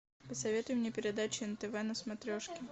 посоветуй мне передачу нтв на смотрешке